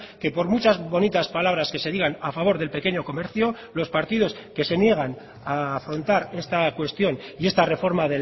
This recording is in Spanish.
que por muchas bonitas palabras que se digan a favor del pequeño comercio los partidos que se niegan a afrontar esta cuestión y esta reforma